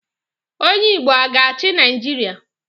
Onye Igbo a ga-achị Naijiria?